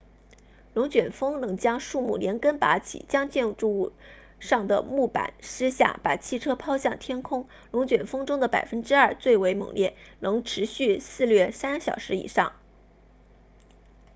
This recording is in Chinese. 龙卷风能将树木连根拔起将建筑物上的木板撕下把汽车抛向天空龙卷风中的百分之二最为猛烈能持续肆虐三小时以上